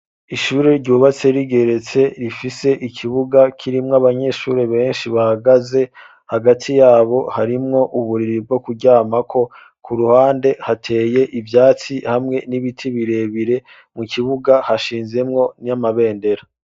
Ishure ryubatse rigeretse rifise ikibuga kirimwo abanyeshuri benshi bahagaze hagati yabo harimwo uburiri bwo kujyama ko ku ruhande hateye ivyatsi hamwe n'ibiti birebire mu kibuga hashinzemwo n'amabendera.